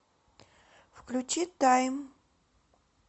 включи тайм